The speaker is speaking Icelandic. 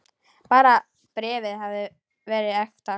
Bara bréfið hefði verið ekta!